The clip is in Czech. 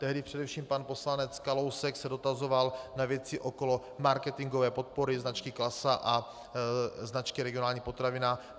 Tehdy především pan poslanec Kalousek se dotazoval na věci okolo marketingové podpory značky Klasa a značky Regionální potravina.